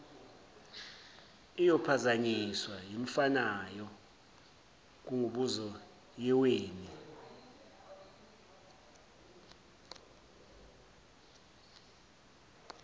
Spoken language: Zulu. iyophazanyiswa yimfanayo kanguboziyeweni